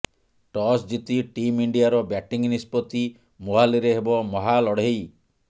toss ଜିତି team ଇଣ୍ଡିଆର batting ନିଷ୍ପତ୍ତି ମୋହାଲିରେ ହେବ ମହାଲଢେଇ